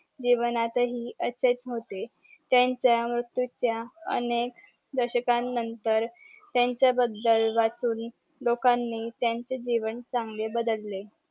जीवनात हि अशेच होते त्यांच्या मृत्यूच्या अनेक दशकांन नतंर त्यांच्या बदल वाचून लोकांनी त्यांचे जीवन चंगले बदलले